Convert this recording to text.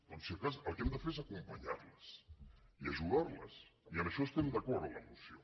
doncs si de cas el que hem de fer és acompanyar les i ajudar les i en això estem d’acord amb la moció